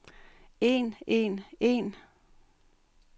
en en en